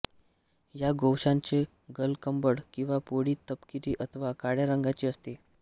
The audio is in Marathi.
या गोवंशाचे गलकंबळ किंवा पोळी तपकिरी अथवा काळ्या रंगाची असते